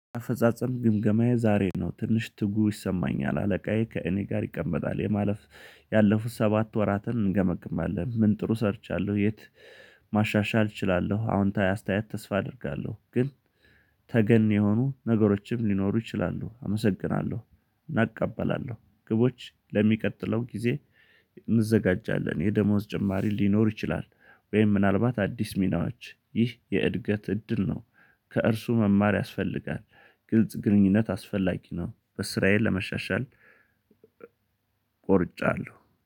አፈጻጸም ግምገማዬ ዛሬ ነው ትንሽ ትጉ ይሰማኛል አለቃዬ ከእኔ ጋር ይቀመጣል የማለፍ ያለፉት ሰባት ወራትን እንገመግማለን ምን ጥሩ ሰርቻለሁ የት ማሻሻል እችላለሁ። አዎንታዊ አስተያየት ተስፋ አደርጋለሁ ግን ተገን የሆኑ ነገሮችም ሊኖሩ ይችላሉ። አመሰግናለሁ። እናእቀበላለሁ ግቦች ለሚቀጥለው ጊዜ። እንዘጋጃለን የደሞዝ ጭማሪ ሊኖር ይችላል ወይም ምናልባት አዲስ ሚናዎች ይህ የእድገት እድል ነው። ከእርሱ መማር ያስፈልጋል። ግልጽ ግንኙነት አስፈላጊ ነው በስራዬ ለመሻሻል። ቆርጫለሁ